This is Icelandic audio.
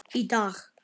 Í dag.